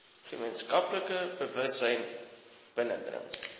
gemeenskaplike bewussyn binnedring